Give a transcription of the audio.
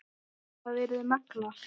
Það yrði magnað.